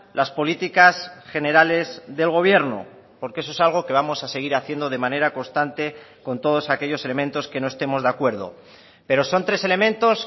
las políticas generales del gobierno porque eso es algo que vamos a seguir haciendo de manera constante con todos aquellos elementos que no estemos de acuerdo pero son tres elementos